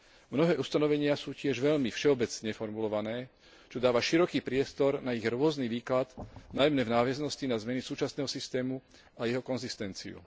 Mnohé ustanovenia sú tiež veľmi všeobecne formulované, čo dáva široký priestor na ich rôzny výklad, najmä v nadväznosti na zmeny súčasného systému a jeho konzistenciu.